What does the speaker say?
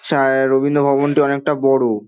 সা এ রবীন্দ্র ভবন টি অনেকটা বড়ো।